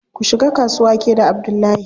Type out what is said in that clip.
Ku shiga kasuwa ke da Abdullahi.